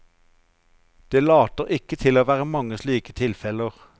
Det later ikke til å være mange slike tilfeller.